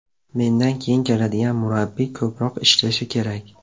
Mendan keyin keladigan murabbiy ko‘proq ishlashi kerak.